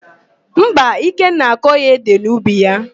Mba, Ikenna akọghị édè n'ubi ya.